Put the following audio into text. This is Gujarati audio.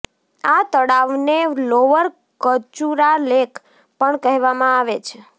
આ તળાવને લોવર કચુરા લેક પણ કહેવામાં આવે છે